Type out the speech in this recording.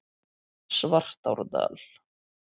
Svartárdal